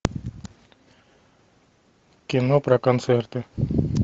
кино про концерты